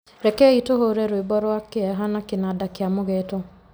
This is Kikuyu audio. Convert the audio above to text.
rekei tũhuure rwĩmbo rwa kĩeha na kĩnanda kĩa mũgeeto.